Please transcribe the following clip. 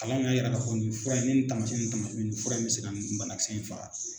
Kalan de y'e jira k'a fɔ nin fura in ne nin taamasiyɛn nin fura in bɛ se ka banakisɛ in faga